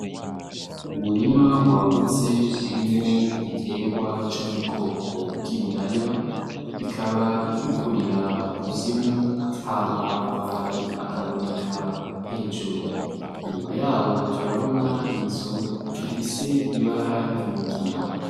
Umurima wagutse urimwo igiterwa co m'ubwoko bw'ibiraya, bikaba bikurira mukuzimu, hama amababi akaboneka hejuru ,inyuma yaho turabona inzu ifise ibara ry'umugina .